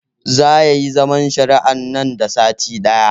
Zaa yayi zaman shari'ar nan da sati ɗaya